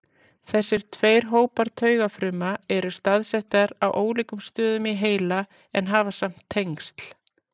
Þessir tveir hópar taugafruma eru staðsettar á ólíkum stöðum í heila en hafa samt tengsl.